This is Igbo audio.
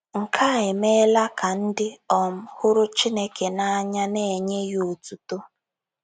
Nke a emeela ka ndị um hụrụ Chineke n’anya na - enye ya otuto.